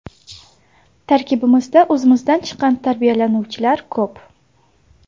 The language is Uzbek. Tarkibimizda o‘zimizdan chiqqan tarbiyalanuvchilar ko‘p.